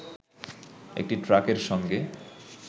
একটি ট্রাকের সঙ্গে